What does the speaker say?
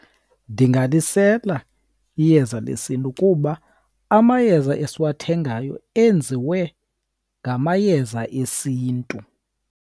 Ndingalisela iyeza lesiNtu, kuba amayeza esiwathengayo enziwe ngamayeza esiNtu.